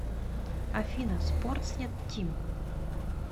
афина спортснет тим